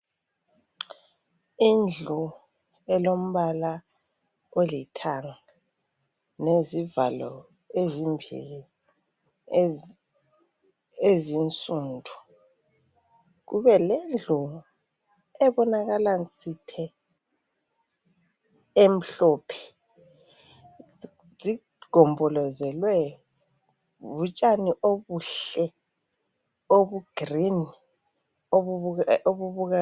Indlu elombala olithanga lezivalo ezimbili ezinsundu. Kubelendlu ebonakala nsithe emhlophe. Zigombolozelwe butshani obuhle obuyi green.